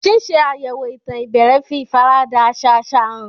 Ṣíṣe àyẹ̀wò ìtàn ìbẹ̀rẹ̀ fi ìfaradà àṣà àṣà hàn.